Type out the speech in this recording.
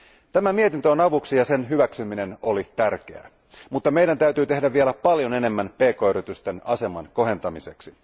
Tämä mietintö on avuksi ja sen hyväksyminen oli tärkeää, mutta meidän täytyy tehdä vielä paljon enemmän pk yritysten aseman kohentamiseksi.